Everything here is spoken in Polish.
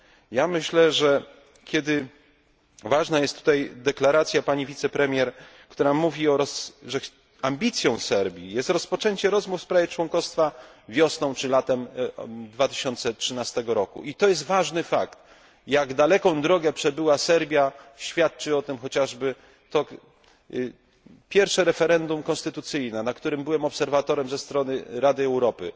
Ja myślę, że ważna jest tutaj deklaracja pani wicepremier, która mówi, że ambicją Serbii jest rozpoczęcie rozmów w sprawie członkostwa wiosną czy latem 2013 roku to jest ważny fakt. Jak daleką drogę przebyła Serbia świadczy o tym chociażby pierwsze referendum konstytucyjne, na którym byłem obserwatorem ze strony Rady Europy.